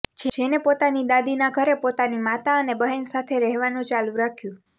જેન પોતાની દાદીના ઘરે પોતાની માતા અને બહેન સાથે રહેવાનું ચાલુ રાખ્યું